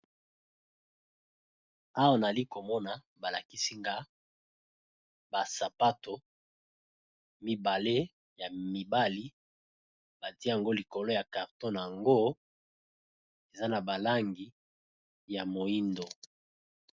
awa nali komona balakisi nga basapato mibale ya mibali badiango likolo ya carton yango eza na balangi ya moindo